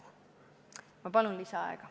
Ma palun lisaaega!